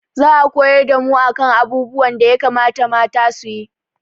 Za a koyar da mu a kan abubuwan da ya kamata mata su yi